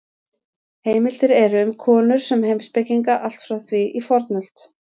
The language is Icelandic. Heimildir eru um konur sem heimspekinga allt frá því í fornöld.